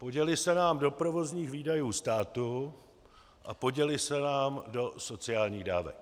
Poděly se nám do provozních výdajů státu a poděly se nám do sociálních dávek.